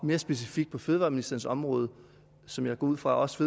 mere specifikt på fødevareministerens område som jeg går ud fra også